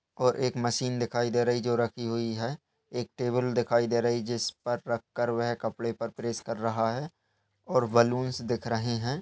और एक मशीन दिखाई दे रही जो रखी हुई है। एक टेबल दिखाई दे रही जिस पर रखकर वह कपड़े पर प्रेस कर रहा है और बलूंस दिख रहे हैं।